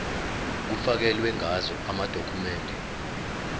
kufakelwe ngazo amadokhumende